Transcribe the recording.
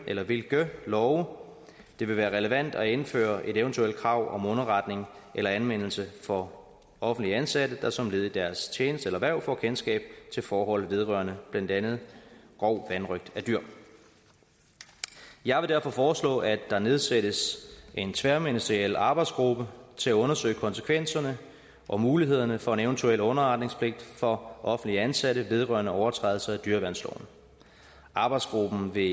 eller hvilke love det vil være relevant at indføre et eventuelt krav om underretning eller anmeldelse for offentligt ansatte der som led i deres tjeneste eller hverv får kendskab til forhold vedrørende blandt andet grov vanrøgt af dyr jeg vil derfor foreslå at der nedsættes en tværministeriel arbejdsgruppe til at undersøge konsekvenserne og mulighederne for en eventuel underretningspligt for offentligt ansatte vedrørende overtrædelse af dyreværnsloven arbejdsgruppen vil